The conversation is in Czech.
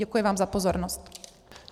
Děkuji vám za pozornost.